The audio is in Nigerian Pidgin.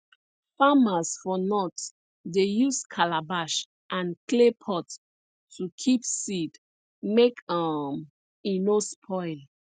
farmers for north dey use calabash and clay pot to keep seed make um e no spoil